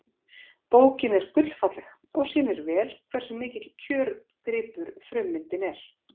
bókin er gullfalleg og sýnir vel hversu mikill kjörgripur frummyndin er